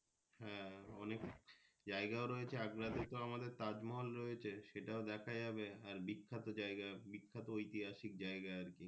হ্যাঁ অনেক জায়গাও রয়েছে আগ্রা তে তো আমাদের তাজমহল রয়েছে সেটাও দেখা যাবে আর বিখ্যাত জায়গা আর বিখ্যাত ঐতিহাসিক জায়গা আর কি।